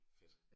Fedt